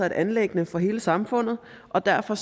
et anliggende for hele samfundet og derfor